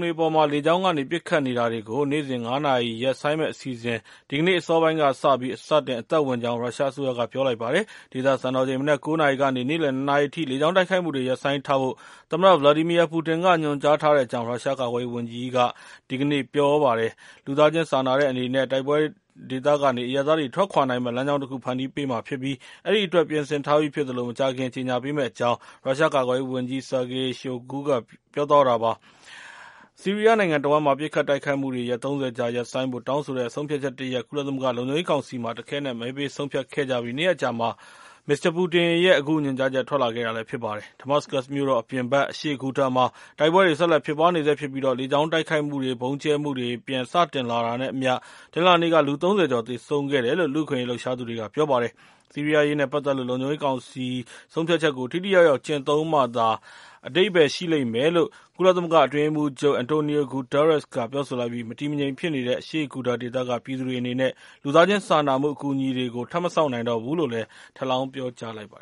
တွေအပေါ် လေကြောင်းကနေ ပစ်ခတ်နေတာတွေကို နေ့စဉ် ၅ နာရီ ရပ်ဆိုင်းမယ့်အစီအစဉ် ဒီကနေ့ အစောပိုင်းကစပြီး စတင်အသက်ဝင်ကြောင်း ရုရှားအစိုးရက ပြောပါတယ်။ ဒေသစံတော်ချိန် မနက် ၉ နာရီကနေ နေ့လယ် ၂ နာရီအထိ လေကြောင်းတိုက်ခိုက်မှုတွေ ရပ်ဆိုင်းထားဖို့ သမ္မတ Vladimir Putin က ညွန်ကြားထားတဲ့အကြောင်း ရုရှား ကာကွယ်ရေးဝန်ကြီးက ဒီကနေ့ ပြောဆိုခဲ့တာပါ။ လူသားချင်းစာနာတဲ့ အနေနဲ့ တိုက်ပွဲဒေသကနေ အရပ်သားတွေ ထွက်ခွာနိုင်မယ့် လမ်းကြောင်းတခု ဖန်တီးပေးမှာ ဖြစ်ပြီး အဲဒီအတွက် ပြင်ဆင်ထားပြီး ဖြစ်သလို၊ မကြာခင်မှာ ကြေညာ ပေးမယ့်အကြောင်း ရုရှားကာကွယ်ရေးဝန်ကြီး Sergei Shoigu ပြောသွားတာပါ။ ဆီးရီးယားနိုင်ငံတဝှမ်း ပစ်ခတ်တိုက်ခိုက်မှုတွေ ရက် ၃၀ ကြာ ရပ်ဆိုင်းဖို့တောင်းဆိုတဲ့ ဆုံးဖြတ်ချက်တရပ် ကုလသမဂ္ဂ လုံခြုံရေးကောင်စီမှာ တခဲနက် မဲပေး ဆုံးဖြတ်ခဲ့ကြပြီး နှစ်ရက်အကြာမှာ မစ္စတာ ပူတင်ရဲ့ အခုညွန်ကြားချက် ထွက်လာတာပါ။ Damascus မြို့တော်အပြင်ဘက် အရှေ့ဂူတာမှာ တိုက်ပွဲတွေ ဆက်လက် ဖြစ်ပွားနေဆဲ ဖြစ်ပြီး လေကြောင်းတိုက်ခိုက်မှုတွေနဲ့ ဗုံးကျဲမှုတွေ ပြန်စတင်လာတာနဲ့အမျှ တနင်္လာနေ့က လူ ၃၀ ကျော် သေဆုံးခဲ့တယ်လို့ လူ့အခွင့်အရေး လှုပ်ရှားသူတွေက ပြောပါတယ်။ ဆီးရီးယားအရေးနဲ့ပတ်သက်လို့ လုံခြုံရေးကောင်စီ ဆုံးဖြတ်ချက်ကို ထိထိရောက်ရောက် ကျင့်သုံးမှသာ အဓိပ္ပာယ် ရှိလိမ့်မယ်လို့ ကုလသမဂ္ဂ အတွင်းရေးမှူးချုပ် အန်တိုနီယို ဂူတားရက်စ် ကလည်း ပြောဆိုလိုက်ပြီး မတည်မငြိမ် ဖြစ်နေတဲ့ အရှေ့ဂူတာ ဒေသက ပြည်သူတွေအနေနဲ့ လူသားချင်း စာနာမှု အကူအညီတွေကို ထပ်မစောင့်နိုင်တော့ဘူးလို့လည်း ထပ်လောင်း ပြောဆိုလိုက်ပါ